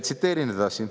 Tsiteerin edasi.